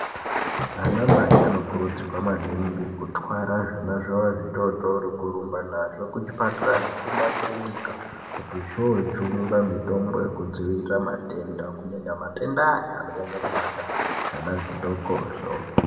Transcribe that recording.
Anamai anokurudzirwa maningi kutwara zvana zvavo zvitotori kurumba nazvo kuchipatara nekumakirinika kuti zvojungwa mitombo yekudzivirira matenda kunyanya matenda aya anonyanyokubata zvanha zvidokoso .